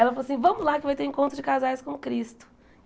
Ela falou assim, vamos lá que vai ter o encontro de casais com o Cristo.